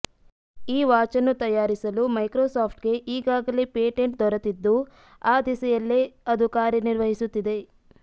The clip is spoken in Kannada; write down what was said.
ಈ ವಾಚನ್ನು ತಯಾರಿಸಲು ಮೈಕ್ರೋಸಾಫ್ಟ್ಗೆ ಈಗಾಗಲೇ ಪೇಟೆಂಟ್ ದೊರೆತಿದ್ದು ಆ ದಿಸೆಯಲ್ಲಿ ಅದು ಕಾರ್ಯನಿರ್ವಹಿಸುತ್ತಿದೆ